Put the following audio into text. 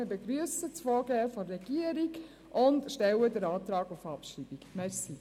Wir begrüssen das Vorgehen der Regierung und stellen Antrag auf Abschreibung.